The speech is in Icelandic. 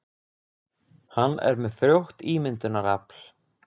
Hann er með frjótt ímyndunarafl.